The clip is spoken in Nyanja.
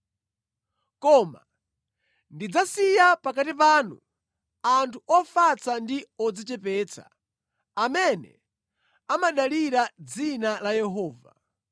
Koma ndidzasiya pakati panu anthu ofatsa ndi odzichepetsa, amene amadalira dzina la Yehova.